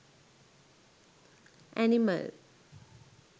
animal